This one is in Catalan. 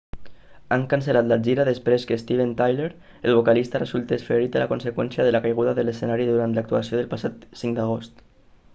han cancel·lat la gira després que steven tyler el vocalista resultés ferit a conseqüència de la caiguda de l'escenari durant l'actuació del passat 5 d'agost